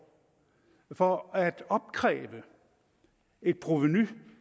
for at opkræve et provenu